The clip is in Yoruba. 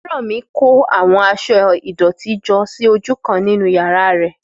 Fẹ́rànmi kó àwọn aṣọ ìdọ̀tí jọ sí ojú kan nínú yàrá rẹ̀